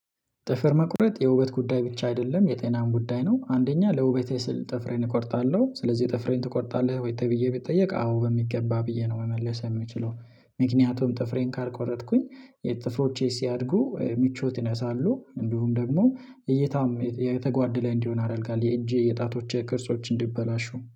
ጥፍር መቁረጥ የውበት ጉዳይ ብቻ አይደለም የጤናን ጉዳይ ነው። አንደኛ ለውበቴ ስል ጥፍሬን እቆርጣለሁ ስለዚህ ጥፍሬን ትቆርጣለህ? ወይ ተብዬ ብጠየቅ አዎ በሚገባ ብዬ ነው። መመለስ የምችለው። ምክንያቱም ጥፍሬን ካልቆረጥኩኝ የተፍሮቼ ሲያድጉ ምቾት ይነሳሉ እንዲሁም ደግሞ እይታም የተጓደለ እንዲሆን ያደርጋል የእጄ የጣቶቼ ቅርጾች እንዲበላሹ